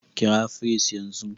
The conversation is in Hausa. Kira firist yanzu!